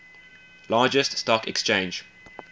largest stock exchange